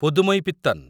Pudhumaipithan